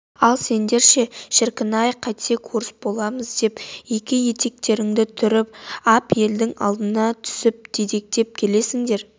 ал сендер ше шіркін-ай қайтсек орыс боламыз деп екі етектеріңді түріп ап елдің алдына түсіп дедектеп келесіңдер